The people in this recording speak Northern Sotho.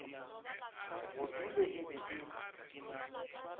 budule e be e le